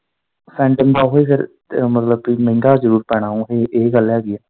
ਸੈਟਮ ਦਾ ਉਹੀ ਫਿਰ ਇਹ ਮਤਲਬ ਭੀ ਮਹਿੰਗਾ ਜਰੂਰ ਪੈਣਾ ਇਹ, ਇਹ ਗੱਲ ਹੈਗੀ।